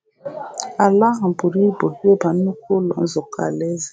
Ala ahụ buru ibu ịba nnukwu Ụlọ Nzukọ Alaeze.